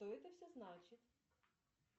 что это все значит